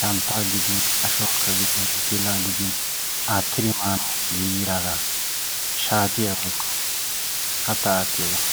santtaa gidin ashuwakka gidin pilaa gidin attidi maanawu giiggidaaga shaatiya woykko kattaa attiyoogaa.